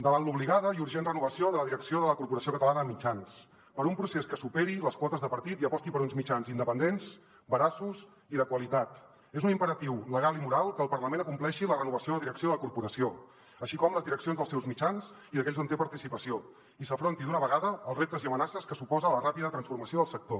davant l’obligada i urgent renovació de la direcció de la corporació catalana de mitjans per un procés que superi les quotes de partit i aposti per uns mitjans independents veraços i de qualitat és un imperatiu legal i moral que el parlament acompleixi la renovació de la direcció de la corporació així com les direccions dels seus mitjans i d’aquells on té participació i s’afronti d’una vegada els reptes i amenaces que suposen la ràpida transformació del sector